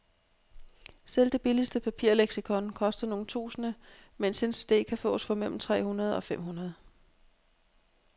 Selv det billigste papirleksikon koster nogle tusinde, mens en cd kan fås for mellem tre hundrede og fem hundrede.